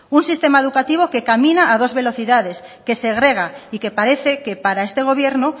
un sistema educativo que camina a dos velocidades que segrega y que parece que para este gobierno